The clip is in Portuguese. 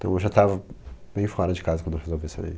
Então eu já tava bem fora de casa quando eu resolvi sair.